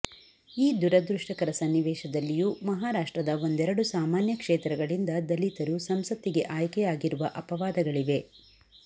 ಈ ದುರದೃಷ್ಟಕರ ಸನ್ನಿವೇಶದಲ್ಲಿಯೂ ಮಹಾರಾಷ್ಟ್ರದ ಒಂದೆರಡು ಸಾಮಾನ್ಯ ಕ್ಷೇತ್ರಗಳಿಂದ ದಲಿತರು ಸಂಸತ್ತಿಗೆ ಆಯ್ಕೆಯಾಗಿರುವ ಅಪವಾದಗಳಿವೆ